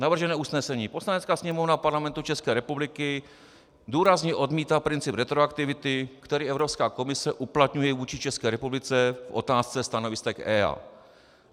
Navržené usnesení: "Poslanecká sněmovna Parlamentu České republiky důrazně odmítá princip retroaktivity, který Evropská komise uplatňuje vůči České republice v otázce stanovisek EIA."